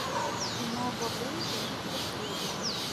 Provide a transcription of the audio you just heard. кино бобры идут по следу